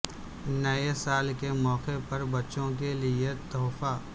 نئے سال کے موقع پر بچوں کے لئے تحفہ